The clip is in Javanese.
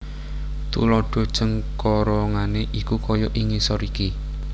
Tuladha cengkorongane iku kaya ing ngisor iki